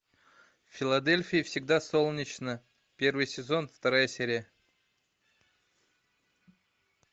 в филадельфии всегда солнечно первый сезон вторая серия